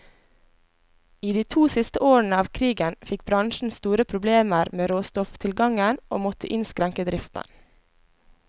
I de to siste årene av krigen fikk bransjen store problemer med råstofftilgangen, og måtte innskrenke driften.